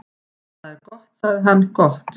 """Það er gott sagði hann, gott"""